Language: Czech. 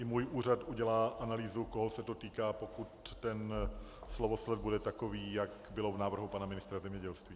I můj úřad udělá analýzu, koho se to týká, pokud ten slovosled bude takový, jak bylo v návrhu pana ministra zemědělství.